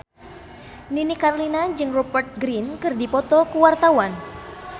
Nini Carlina jeung Rupert Grin keur dipoto ku wartawan